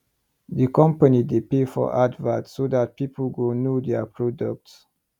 the company dey pay for advert so that people go know there product